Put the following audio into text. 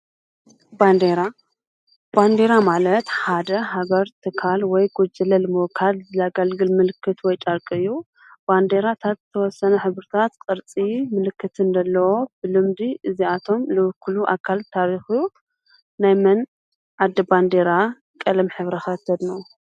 ንራባንዲራ ማለት ሓደ ሃገር ትካል ወይ ጐጅለ ልምወካድ ዘለጋልግል ምልክት ወይ ጣርቂዩ ባንዴራ ታ ተወሰነ ኅብርታት ቅርፂ ምልክትን ደለዎ ብልምዲ እዚኣቶም ልብክሉ ኣካል ታሪኹዩ ናይመን ኣዲ ባንዴራ ቀለም ኅሕብረ ኸ ተድንቁ?